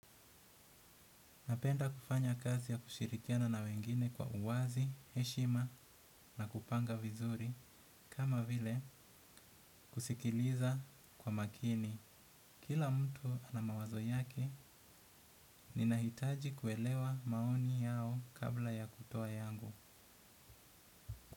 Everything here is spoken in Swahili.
Napenda kufanya kazi ya kushirikiana na wengine kwa uwazi, heshima na kupanga vizuri, kama vile kusikiliza kwa makini. Kila mtu anama wazo yake, ninahitaji kuelewa maoni yao kabla ya kutoa yangu.